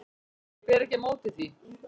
Ég ber ekki á móti því.